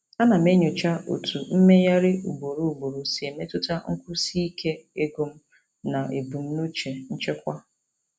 Ana m enyocha otú mmegharị ugboro ugboro si emetụta nkwụsi ike ego m na ebumnuche nchekwa.